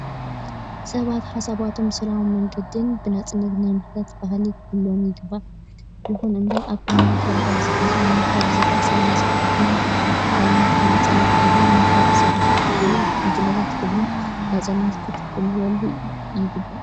ሰባት ሓሳባቶም ብሰላማዊ መግገድን ብነፃነት ናይ ምሕታት ባልሂ ክህልዎም ይግባእ። ይኽን እምበር ኣብ ክልልና ትግራይ ኣብዚ ሕዚ እዋን ካብ ዝረኣዩ ሰላማዊ ሰልፍታት ናይ ባዕልትካ ነፃነት እምበር ናይ ካልኦት ሰባት ወይ ጉጅለታት ክብርን ነፃነትን ክትትሕልው ይግባእ።